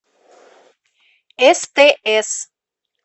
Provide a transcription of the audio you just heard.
стс